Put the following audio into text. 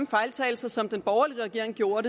fejltagelser som den borgerlig regering gjorde